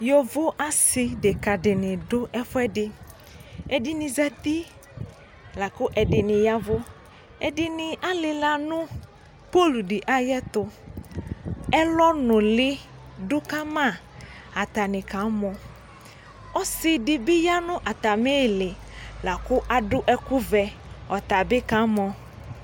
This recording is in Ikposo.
Yovo asideka dini dʋ ɛfuɛdi ɛdini zati Lakʋ ɛdini yavʋƐdini alila nʋ pol di ayɛtuƐlɔ nuli dʋkamaAtani kamɔƆsidibi yanʋ atamili lakʋ adʋ ɛkʋvɛ Ɔtabi kamɔ